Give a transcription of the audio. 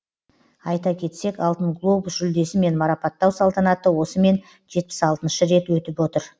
айта кетсек алтын глобус жүлдесімен марапаттау салтанаты осымен жетпіс алтыншы рет өтіп отыр